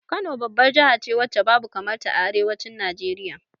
Kano babbar jahace wacce babu kamar ta a arewacin Najeriya